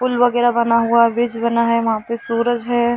पुल वगेरा बना हुआ है ब्रिज बना है वहाँ पे सूरज है।